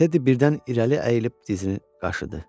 Teddi birdən irəli əyilib dizini qaşıdı.